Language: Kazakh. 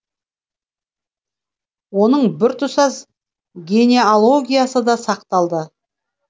оның біртұтас генеалогиясы да сақталды